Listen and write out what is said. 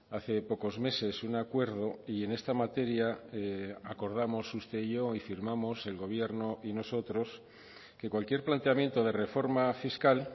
hace pocos meses un acuerdo y en esta materia acordamos usted y yo y firmamos el gobierno y nosotros que cualquier planteamiento de reforma fiscal